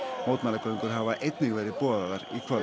mótmælagöngur hafa einnig verið boðaðar í kvöld